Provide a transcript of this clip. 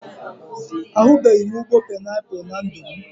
Ahubeghi m ụgbọ painiapụl na ndụ m